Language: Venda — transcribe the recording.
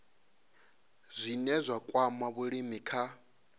zwine zwa kwama vhulimi kha